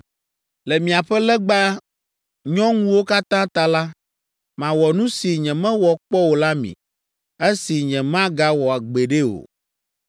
Le miaƒe legba nyɔŋuwo katã ta la, mawɔ nu si nyemewɔ kpɔ o la mi, esi nyemagawɔ gbeɖe o.